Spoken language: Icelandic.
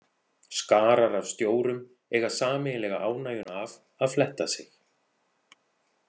Skarar af stjórum eiga sameiginlega ánægjuna af að fletta sig.